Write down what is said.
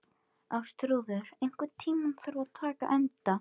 Ástþrúður, einhvern tímann þarf allt að taka enda.